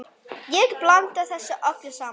Ég blanda þessu öllu saman.